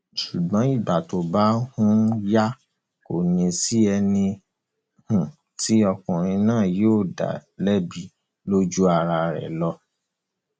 ṣùgbọn ìgbà tó bá um yá kò ní í sí ẹni um tí ọkùnrin náà yóò dá lẹbi ju ara rẹ lọ